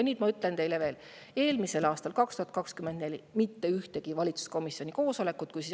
Ma ütlen teile, et eelmisel aastal, 2024, mitte ühtegi valitsuskomisjoni koosolekut.